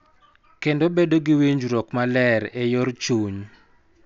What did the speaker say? Kendo bedo gi winjruok maler e yor chuny.